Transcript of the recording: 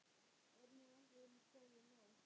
Er nú ekki komið nóg?